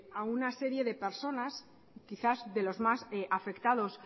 a una serie de personas quizás de los más afectados